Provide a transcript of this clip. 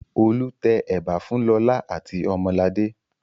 Olu tẹ ẹ̀bà fún Lọlá àti Ọmọladé.